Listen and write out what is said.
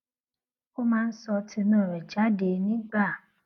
ó máa ń sọ tinú rè jáde nígbà